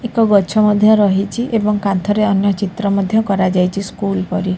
ଏକ ଗଛ ମଧ୍ୟ ରହିଛି ଏବଂ କାନ୍ଥରେ ଅନ୍ୟ ଚିତ୍ର ମଧ୍ୟ କରାଯାଇଛି ସ୍କୁଲ୍ ପରି--